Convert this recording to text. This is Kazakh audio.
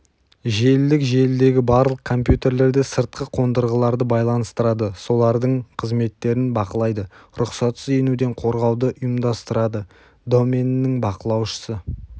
желілік желідегі барлық компьютерлерді сыртқы қондырғыларды байланыстырады солардын қызметтерін бақылайды рұқсатсыз енуден қорғауды ұйымдастырадыі доменінің бақылаушысы